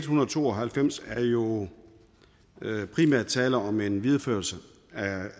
hundrede og to og halvfems er der jo primært tale om en videreførelse